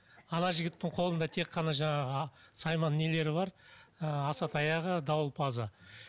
ана жігіттің қолында тек қана жаңағы сайман нелері бар ы асатаяғы дауылпазы